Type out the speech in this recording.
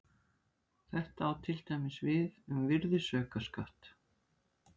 Þetta á til dæmis við um virðisaukaskatt.